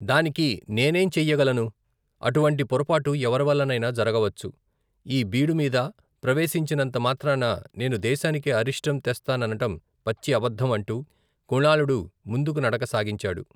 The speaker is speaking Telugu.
దానికి నేనేం చెయ్యగలను, అటు వంటి పొరపాటు ఎవరివల్లనైనా జరగవచ్చు, ఈ బీడుమీద ప్రవేశించినంత మాత్రాన నేను దేశానికి అరిష్టం తెస్తాననటం పచ్చి అబద్దం అంటూ, కుణాళుడు ముందుకు నడక సాగించాడు.